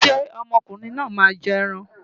Ṣé ọmọ ọkùnrin náà máa jẹ ẹran?